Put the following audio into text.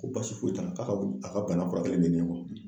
Ko baasi foyi t'a la k'a ka wu a ka bana kurakɛlen de nin